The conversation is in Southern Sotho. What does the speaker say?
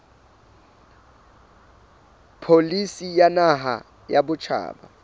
pholisi ya naha ya batjha